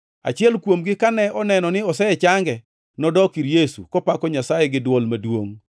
Achiel kuomgi, kane oneno ni osechange, nodok ir Yesu, kopako Nyasaye gi dwol maduongʼ.